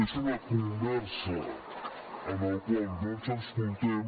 és una conversa en la qual no ens escoltem